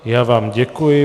Já vám děkuji.